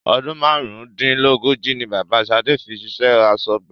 Ọdún márùn-ún-dín-lógójì ni Bàbá shade fi ṣiṣẹ́ asọ́gbà